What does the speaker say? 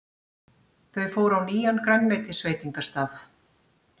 Þau fóru á nýjan grænmetisveitingastað.